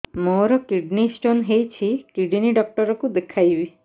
ମୋର kidney stone ହେଇଛି kidney doctor କୁ ଦେଖାଇବି